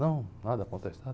Não, nada a contestar.